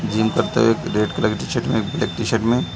Gym करते हुए red colour की टी शर्ट में ब्लैक टी शर्ट में --.